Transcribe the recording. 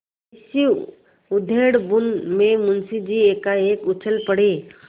इसी उधेड़बुन में मुंशी जी एकाएक उछल पड़े